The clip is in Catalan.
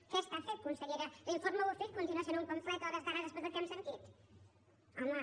què està fent consellera l’informe bofill continua sent un pamflet a hores d’ara després del que hem sentit home